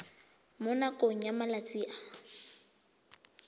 mo nakong ya malatsi a